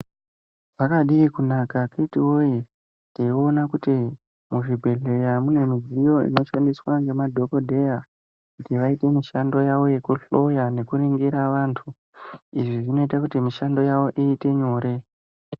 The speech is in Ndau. Zvakadii kunaka akiti woye taiona kuti muzvibhedhlera mune midziyo inoshandiswa ngemadhokodheya kuti vaite mushando yavo yekuhloya nekuningira vantu . Izvii zvinoita kuti mushando yavo iite nyore.